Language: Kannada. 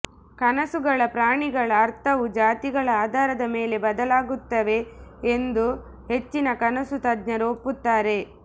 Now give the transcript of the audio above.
ಕನಸುಗಳ ಪ್ರಾಣಿಗಳ ಅರ್ಥವು ಜಾತಿಗಳ ಆಧಾರದ ಮೇಲೆ ಬದಲಾಗುತ್ತವೆ ಎಂದು ಹೆಚ್ಚಿನ ಕನಸು ತಜ್ಞರು ಒಪ್ಪುತ್ತಾರೆ